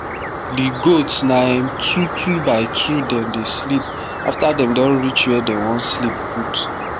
the goats na um two two by two dem dey sleep after dem do reach where dem wan sleep put